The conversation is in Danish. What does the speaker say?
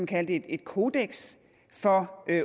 kalde det kodeks for